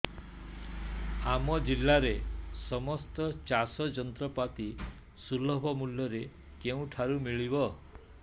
ଆମ ଜିଲ୍ଲାରେ ସମସ୍ତ ଚାଷ ଯନ୍ତ୍ରପାତି ସୁଲଭ ମୁଲ୍ଯରେ କେଉଁଠାରୁ ମିଳିବ